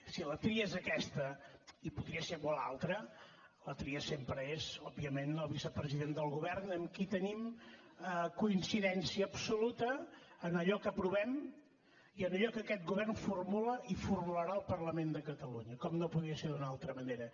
si la tria és aquesta i podria ser una altra la tria sempre és òbviament el vicepresident del govern amb qui tenim coincidència absoluta en allò que aprovem i en allò que aquest govern formula i formularà al parlament de catalunya com no podia ser d’una altra manera